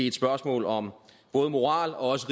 et spørgsmål om både moral og også